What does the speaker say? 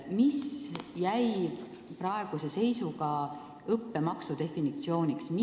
Mis jäi praeguse seisuga õppemaksu definitsiooniks?